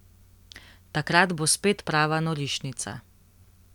Takrat bo spet prava norišnica.